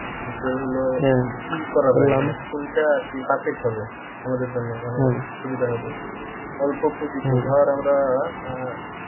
যে তোর লহো কি করা যাই কোনটা আরকি perfect হবে আমাদের জন্যে মানে সুবিধা হবে অল্প পুঁজিতে ধর আমরা আহ